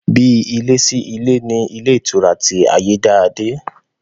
Bí ilé sí ilé ni ilé ìtura ti Ayédáadé